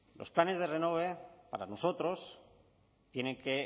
los planes renove para nosotros tienen que